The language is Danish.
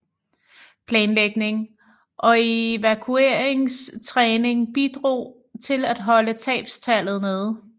Planlægning og evakueringstræning bidrog til at holde tabstallet nede